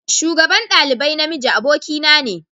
Shugaban dalibai na miji abokin na ne